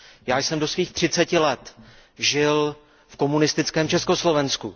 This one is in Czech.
Já jsem do svých třiceti let žil v komunistickém Československu.